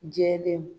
Jɛlenw